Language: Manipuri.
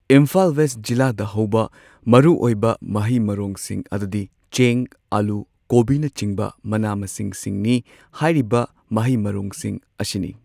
ꯏꯝꯐꯥꯜ ꯋꯦꯁ ꯖꯤꯂꯥꯗ ꯍꯧꯕ ꯃꯔꯨꯑꯣꯏꯕ ꯃꯍꯩ ꯃꯔꯣꯡꯁꯤꯡ ꯑꯗꯨꯗꯤ ꯆꯦꯡ ꯑꯜꯂꯨ ꯀꯣꯕꯤꯅꯆꯤꯡꯕ ꯃꯅꯥ ꯃꯁꯤꯡꯁꯤꯡꯅꯤ ꯍꯥꯏꯔꯤꯕ ꯃꯍꯩ ꯃꯔꯣꯡꯁꯤꯡ ꯑꯁꯤꯅꯤ꯫